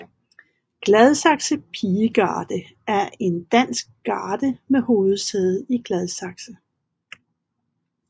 Gladsaxe Pigegarde er en dansk garde med hovedsæde i Gladsaxe